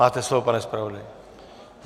Máte slovo, pane zpravodaji.